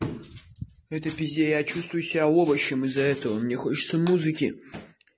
в этой пизде я чувствую себя овощем из-за этого мне хочется музыки